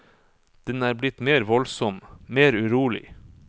Den er blitt mer voldsom, mer urolig.